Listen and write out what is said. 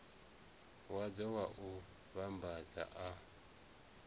wadzo wa u vhambadza a